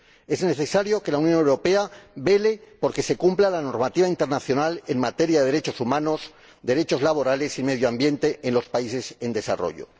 Es necesario que la Unión Europea vele por que se cumpla la normativa internacional en materia de derechos humanos, derechos laborales y medio ambiente en los países en desarrollo.